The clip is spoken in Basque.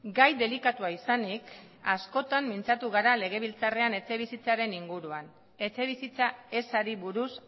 gai delikatua izanik askotan mintzatu gara legebiltzarrean etxebizitzaren inguruan etxebizitza ezari buruz